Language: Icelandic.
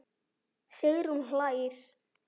Sigrún hlær.